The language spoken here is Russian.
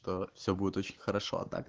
все будет очень хорошо